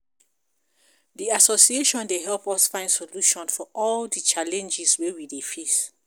Di association dey help us find solution for all di challenges wey we dey face.